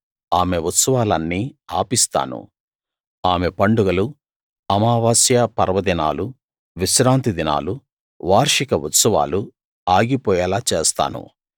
ఆమె ఉత్సవాలన్నీ ఆపిస్తాను ఆమె పండగలూ అమావాస్య పర్వదినాలూ విశ్రాంతి దినాలూ వార్షిక ఉత్సవాలు ఆగిపోయేలా చేస్తాను